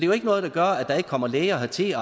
jo ikke noget der gør at der ikke kommer læger hertil